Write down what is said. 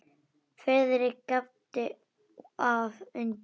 Friðrik gapti af undrun.